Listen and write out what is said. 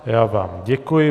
Já vám děkuji.